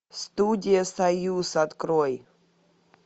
студия союз открой